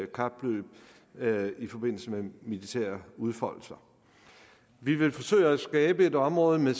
kapløb i forbindelse med militære udfoldelser vi vil forsøge at skabe et område med